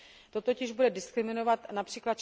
To totiž bude diskriminovat např.